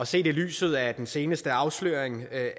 set i lyset af den seneste afsløring af